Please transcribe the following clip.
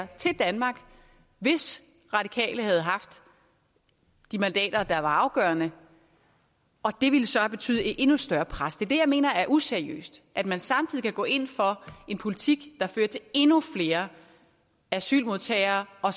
til danmark hvis radikale havde haft de mandater der var afgørende og det ville så have betydet et endnu større pres det er det jeg mener er useriøst at man samtidig kan gå ind for en politik der fører til endnu flere asylmodtagere og